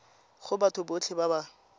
go batho botlhe ba ba